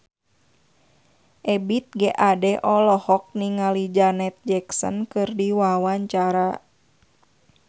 Ebith G. Ade olohok ningali Janet Jackson keur diwawancara